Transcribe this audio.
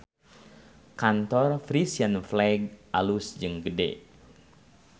Kantor Frisian Flag alus jeung gede